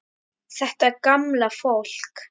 Þetta gamla fólk.